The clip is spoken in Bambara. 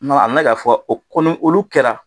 n mɛ k'a fɔ, o kɔni, olu kɛra.